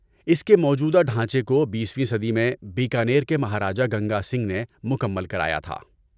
اس کے موجودہ ڈھانچے کو بیسویں صدی میں بیکانیر کے مہاراجہ گنگا سنگھ نے مکمل کرایا تھا۔